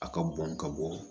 A ka bɔn ka bɔ